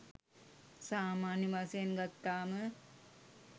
සාමාන්‍ය වශයෙන් ගත්තාම